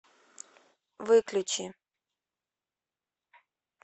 выключи